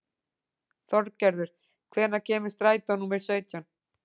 Þorgerður, hvenær kemur strætó númer sautján?